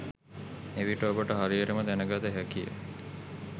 එවිට ඔබට හරියටම දැන ගත හැකිය.